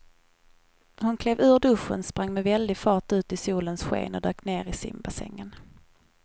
Hon klev ur duschen, sprang med väldig fart ut i solens sken och dök ner i simbassängen.